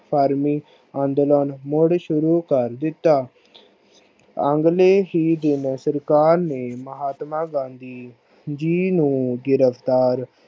ਪਰਮੀ ਅੰਦੋਲਨ ਮੁੜ ਸ਼ੁਰੂ ਕਰ ਦਿਤਾ। ਅਗਲੇ ਹੀ ਦਿਨ ਸਰਕਾਰ ਨੇ ਮਹਾਤਮਾ ਗਾਂਧੀ ਜੀ ਨੂੰ ਗਿਰਫ਼ਤਾਰ